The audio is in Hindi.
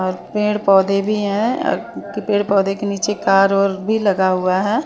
और पेड़ पौधे भी है पेड़ पौधे के नीचे कार और भी लगा हुआ है।